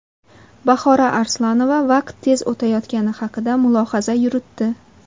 Bahora Arslonova vaqt tez o‘tayotgani haqida mulohaza yuritdi.